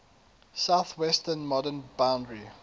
southwestern modern boundary